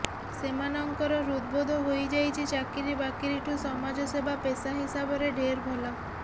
ସେମାନଙ୍କର ହୃଦବୋଧ ହୋଇଯାଇଛି ଚାକିରିବାକିରିଠୁଁ ସମାଜସେବା ପେସା ହିସାବରେ ଢେର ଭଲ